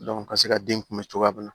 ka se ka den kunbɛn cogoya mun na